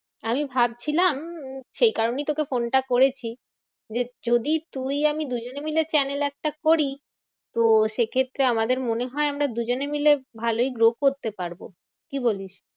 আমি ভাবছিলাম উম সেই কারণেই তোকে ফোনটা করেছি। যে যদি তুই আমি দুজনে মিলে channel একটা করি, তো সেক্ষেত্রে আমাদের মনে হয় আমরা দুজনে মিলে ভালোই grow করতে পারবো। কি বলিস?